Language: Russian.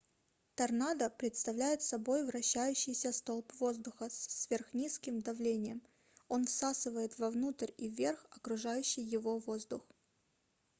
торнадо представляет собой вращающийся столб воздуха с сверхнизким давлением он всасывает вовнутрь и вверх окружающий его воздух